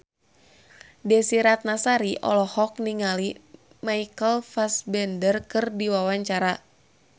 Desy Ratnasari olohok ningali Michael Fassbender keur diwawancara